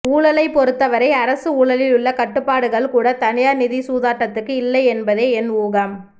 ஊழலைப்பொறுத்தவரை அரசு ஊழலில் உள்ள கட்டுப்பாடுகள் கூட தனியார் நிதி சூதாட்டத்துக்கு இல்லை என்பதே என் ஊகம்